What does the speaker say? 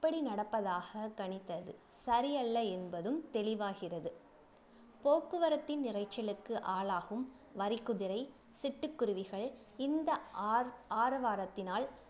இப்படி நடப்பதாக கணித்தது சரியல்ல என்பதும் தெளிவாகிறது போக்குவரத்தின் இரைச்சலுக்கு ஆளாகும் வரிக்குதிரை சிட்டுக்குருவிகள் இந்த ஆர ஆரவாரத்தினால்